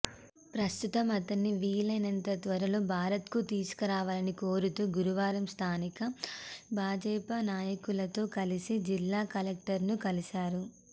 ప్రస్తుతం అతణ్ని వీలైనంత త్వరలో భారత్కు తీసుకురావాలని కోరుతూ గురువారం స్థానిక భాజపా నాయకులతో కలిసి జిల్లా కలెక్టరును కలిశారు